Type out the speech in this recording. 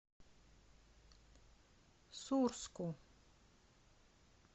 сурску